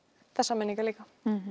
þessar minningar líka